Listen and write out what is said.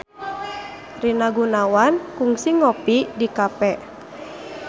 Rina Gunawan kungsi ngopi di cafe